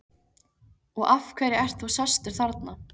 Og af hverju ert þú sestur þarna?